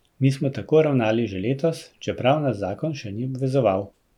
Mi smo tako ravnali že letos, čeprav nas zakon še ni obvezoval.